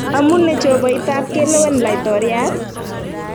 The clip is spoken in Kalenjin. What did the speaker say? Amu ne jopoitab kelewen laitoriat?